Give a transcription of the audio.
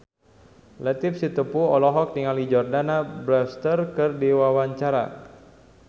Latief Sitepu olohok ningali Jordana Brewster keur diwawancara